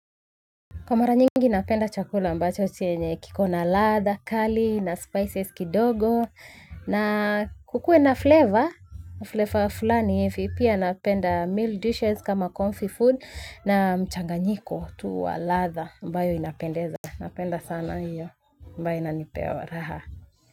Kwa mara nyingi napenda chakula ambacho chenye kiko na latha kali na spices kidogo na kukue na flavor flavor fulani hivi pia napenda meal dishes kama comfy food na mchanganyiko tu wa latha ambayo inapendeza napenda sana hiyo ambayo inanipea waraha.